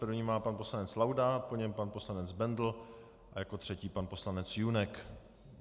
První má pan poslanec Laudát, po něm pan poslanec Bendl a jako třetí pan poslanec Junek.